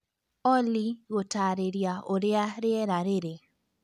Olly gũtaarĩria ũrĩa rĩera rĩrĩ